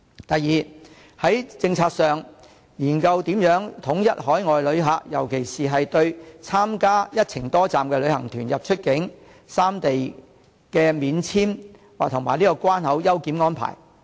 第二，在政策上研究如何統一海外旅客，尤其對參加"一程多站"的旅行團出入三地免簽證及關口優檢的安排。